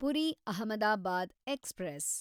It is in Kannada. ಪುರಿ ಅಹಮದಾಬಾದ್ ಎಕ್ಸ್‌ಪ್ರೆಸ್